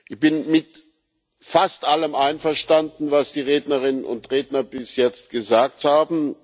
Ich bin mit fast allem einverstanden, was die Rednerinnen und Redner bis jetzt gesagt haben.